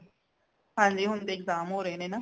ਹਾਂਜੀ ਹੁਣ ਤੇ exam ਹੋ ਰੇ ਨੇ ਨਾ